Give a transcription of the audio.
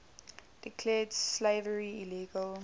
declared slavery illegal